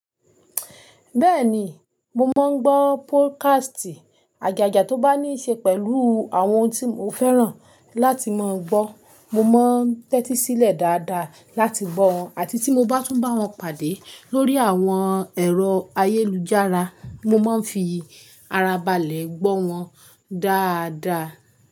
Bẹ́ẹ̀ni, mo máa ń gbọ́ podcast. Agaga tó bá ní ṣe pẹ̀lú àwọn ohun tí mo fẹ́ràn láti máa gbọ́. Mo máa ń tẹ́tí sílẹ̀ dáadáa láti gbọ́ wọn àti tí mo bá tún bá wọn pàdé lórí àwọn ẹ̀rọ ayélujára, mo máa ń fi ara balẹ̀ gbọ́ wọn dáadáa.